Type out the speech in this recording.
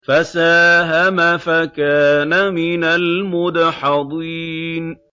فَسَاهَمَ فَكَانَ مِنَ الْمُدْحَضِينَ